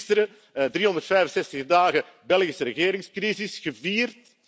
We hebben gisteren 365 dagen Belgische regeringscrisis gevierd.